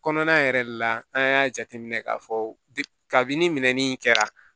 Kɔnɔna yɛrɛ de la an y'a jateminɛ k'a fɔ kabini minɛnni kɛra